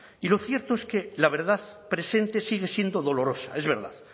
y lo cierto es que la verdad presente sigue siendo dolorosa es verdad